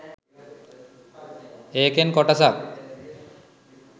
ඒකෙන් කොටසක්